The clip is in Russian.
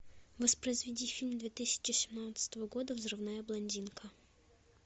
воспроизведи фильм две тысячи семнадцатого года взрывная блондинка